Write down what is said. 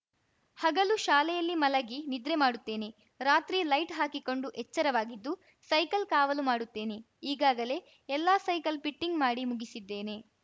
ಹಗಲು ಶಾಲೆಯಲ್ಲಿ ಮಲಗಿ ನಿದ್ರೆ ಮಾಡುತ್ತೇನೆ ರಾತ್ರಿ ಲೈಟ್‌ ಹಾಕಿಕೊಂಡು ಎಚ್ಚರವಾಗಿದ್ದು ಸೈಕಲ್‌ ಕಾವಲು ಮಾಡುತ್ತೇನೆ ಈಗಾಗಲೇ ಎಲ್ಲಾ ಸೈಕಲ್‌ ಪಿಟ್ಟಿಂಗ್‌ ಮಾಡಿ ಮುಗಿಸಿದ್ದೇನೆ